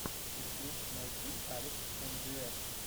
ютуб найти алекс эмджиэс